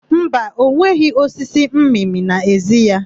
Mba, ọ nweghị osisi mmịmị n'ezi ya.